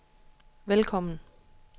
velkommen